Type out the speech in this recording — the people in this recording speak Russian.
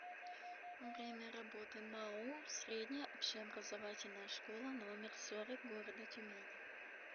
время работы маоу средняя общеобразовательная школа номер сорок города тюмени